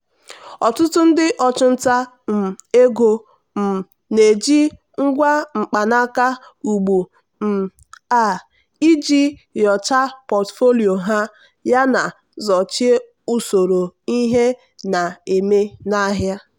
ọtụtụ ndị ọchụnta um ego um na-eji ngwa mkpanaka ugbu um a iji nyochaa pọtụfoliyo ha yana sochie usoro ihe na-eme n'ahịa.